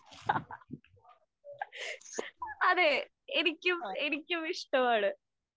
അതേ, എനിക്കും എനിക്കും ഇഷ്ടമാണ്.